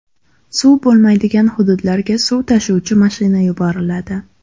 Suv bo‘lmaydigan hududlarga suv tashuvchi mashina yuboriladi.